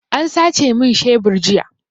An sace min shebur jiya.